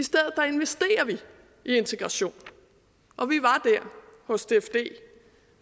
integration og vi var hos dfd